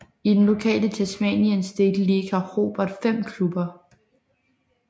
I den lokale Tasmanian State League har Hobart fem klubber